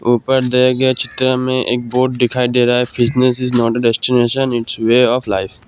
ऊपर दिए गए चित्र में एक बोर्ड दिखाई दे रहा है fitness is not a destination it's a way of life.